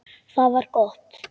Það var gott